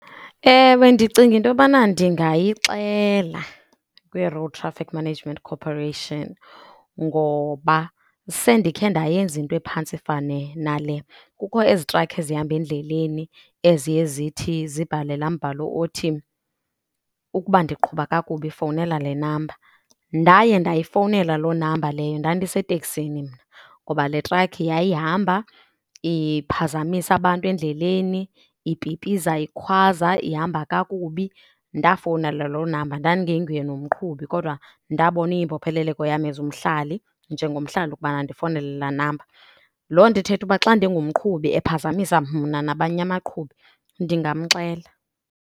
Ewe, ndicinga into yobana ndingayixela kwiRoad Traffic Management Corporation ngoba sendikhe ndayenza into ephantse ifane nale. Kukho ezi trakhi ezihamba endleleni eziye zithi zibhale laa mbhalo othi, ukuba ndiqhuba kakubi fowunela le namba. Ndaye ndayifowunela loo namba leyo, ndandiseteksini mna. Ngoba le trakhi yayihamba iphazamisa abantu endleleni, ipipiza ikhwaza, ihamba kakubi, ndafowunela loo namba. Ndandingenguye nomqhubi kodwa ndabona iyimbopheleleko yam as umhlali, njengomhlali ukubana ndifowunele laa namba. Loo nto ithetha uba xa ndingumqhubi ephazamisa mna nabanye abaqhubi, ndingamxela.